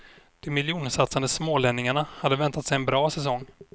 De miljonsatsande smålänningarna hade väntat sig en bra säsong.